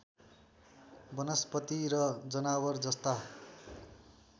वनस्पति र जनावर जस्ता